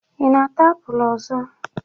Ị na-ata apụl ọzọ?